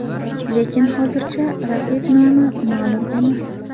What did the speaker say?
Lekin hozircha raqib nomi ma’lum emas.